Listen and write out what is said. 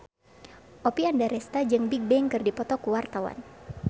Oppie Andaresta jeung Bigbang keur dipoto ku wartawan